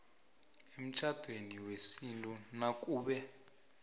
emtjhadweni wesintu nakube